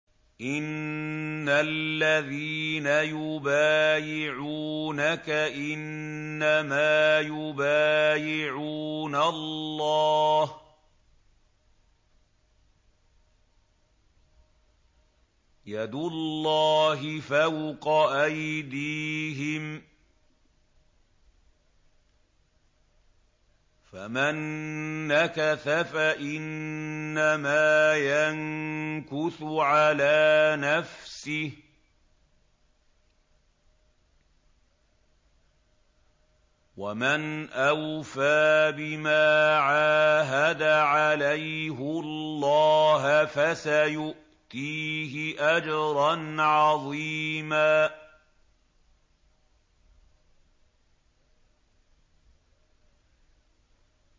إِنَّ الَّذِينَ يُبَايِعُونَكَ إِنَّمَا يُبَايِعُونَ اللَّهَ يَدُ اللَّهِ فَوْقَ أَيْدِيهِمْ ۚ فَمَن نَّكَثَ فَإِنَّمَا يَنكُثُ عَلَىٰ نَفْسِهِ ۖ وَمَنْ أَوْفَىٰ بِمَا عَاهَدَ عَلَيْهُ اللَّهَ فَسَيُؤْتِيهِ أَجْرًا عَظِيمًا